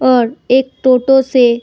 और एक टोटो से --